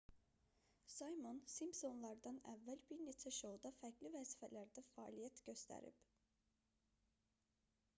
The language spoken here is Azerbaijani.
simon simpsonlar"dan əvvəl bir neçə şouda fərqli vəzifələrdə fəaliyyət göstərib